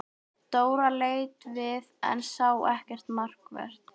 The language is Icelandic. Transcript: Dóra leit við en sá ekkert markvert.